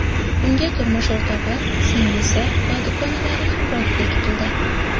Unga turmush o‘rtog‘i, singlisi va dugonalari hamrohlik qildi.